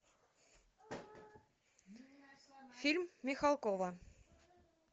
фильм михалкова